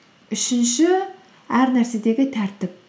үшінші әр нәрседегі тәртіп